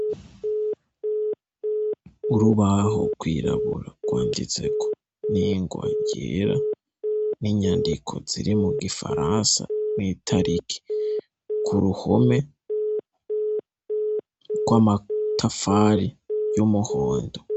Urubaho rwirabura rwanditseko ningwa yera, ninyandiko ziri mugifaransa, n’itariki, kuruhome rw'amatafari y’umuhondo.